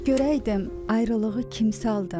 Bir görəydim ayrılığı kim saldı?